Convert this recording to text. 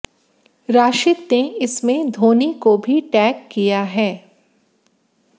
राशिद ने इसमें धोनी को भी टैग किया है